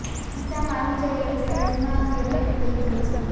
ખિસ્સામાં આવી જાય એટલી સાઇઝમાં તે રેપ થઈ જાય છે